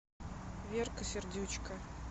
верка сердючка